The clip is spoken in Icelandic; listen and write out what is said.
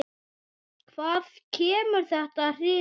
Hvað kemur þetta hruninu við?